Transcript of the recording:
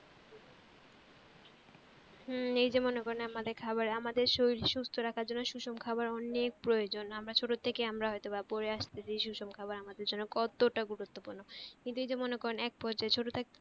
হম এই যে মনে করেন আমাদের খাবার আমাদের শরীর সুস্থ রাখার জন্য সুষম খাবার অনেক প্রয়োজন, আমরা ছোট থেকেই আমরা হয়তোবা পরে আস্তেছি সুষম খাবার আমাদের জন্য কতটা গুরুত্বপূর্ণ, কিন্তু এই যে মনে করেন এক পর্যায়ে ছোট থাকতে